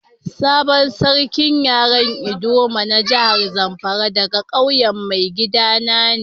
Sabon sarkin yaren ldoma na jihar Zamfara daga ƙauyen maigida na ne.